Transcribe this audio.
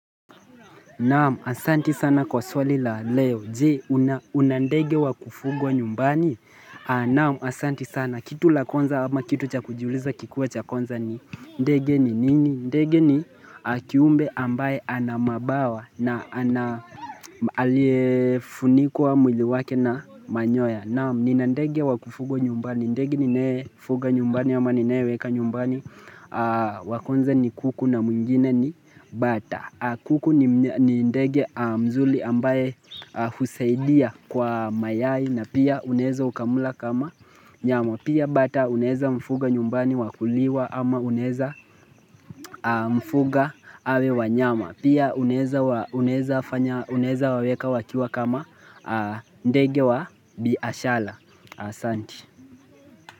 Naam, asanti sana kwa swali la leo. Je, huna ndege wa kufugwa nyumbani? Naamu, asanti sana. Kitu la kwanza ama kitu cha kujuuliza kikuwe cha kwanza ni. Ndege nini? Ndege ni kiumbe ambaye anamabawa na aliyefunikwa mwili wake na manyoya. Naam, nina ndege wa kufugwa nyumbani. Ndege ninayefunga nyumbani ama ninaye weka nyumbani. Wa kwanza ni kuku na mwingine ni bata. Kuku ni ndege mzuri ambaye huzaidia kwa mayai na pia unaeza ukamula kama nyama. Pia bata unaeza mfuga nyumbani wakuliwa ama uneza mfuga awe wanyama Pia uneza waweka wakiwa kama ndege wa biashara asanti.